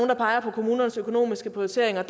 der peger på kommunernes økonomiske prioriteringer